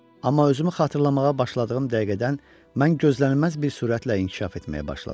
Amma özümü xatırlamağa başladığım dəqiqədən mən gözlənilməz bir sürətlə inkişaf etməyə başladım.